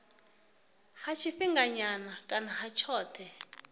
ha tshifhinganyana kana ha tshothe